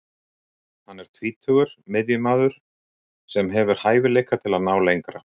Hann er tvítugur miðjumaður sem hefur hæfileika til að ná lengra.